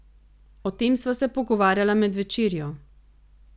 O tem sva se pogovarjala med večerjo.